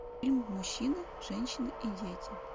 фильм мужчины женщины и дети